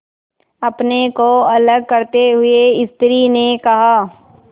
अपने को अलग करते हुए स्त्री ने कहा